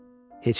Heç vaxt.